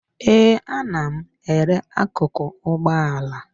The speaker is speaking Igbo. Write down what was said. Ee, ana m ere akụkụ ụgbọala